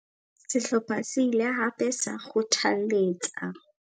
Sehlopha se ile hape sa kgothalletsa.